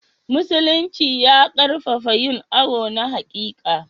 Musulinci ya ƙarfafa yin awo na haƙiƙa.